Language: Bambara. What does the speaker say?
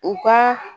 U ka